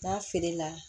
N'a feere la